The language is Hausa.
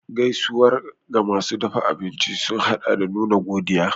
Gaisuwar ga masu dafa abinci sun haɗa da nuna godiya.